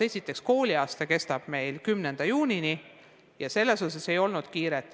Esiteks, kooliaasta kestab meil 10. juunini ja selles mõttes ei ole kuhugi kiiret.